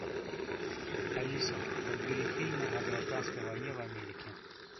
алиса подбери фильмы о гражданской войне в америке